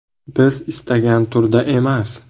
– Biz istagan turda emas.